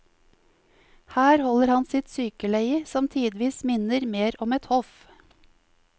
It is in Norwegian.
Her holder han sitt sykeleie, som tidvis minner mer om et hoff.